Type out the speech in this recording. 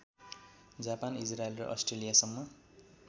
Japan Israel र अष्ट्रेलियासम्म